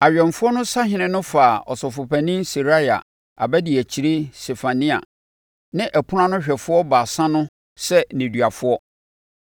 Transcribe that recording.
Awɛmfoɔ no sahene no faa ɔsɔfopanin Seraia, abadiakyire Sefania ne ɔpono ano hwɛfoɔ baasa no sɛ nneduafoɔ.